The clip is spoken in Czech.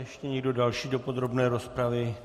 Ještě někdo další do podrobné rozpravy?